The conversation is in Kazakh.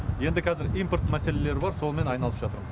енді қазір импорт мәселелері бар сонымен айналысып жатырмыз